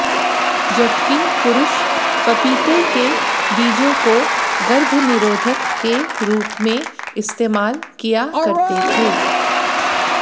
जबकी पुरुष पपीते के बीजों को गर्भ निरोधक के रूप में इस्तेमाल किया करते थे